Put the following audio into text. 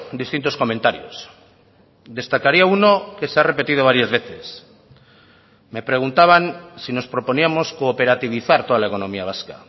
distintos comentarios destacaría uno que se ha repetido varias veces me preguntaban si nos proponíamos cooperativizar toda la economía vasca